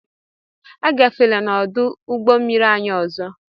Agafela n'ọdụ ụgbọmmiri anyị ọzọ!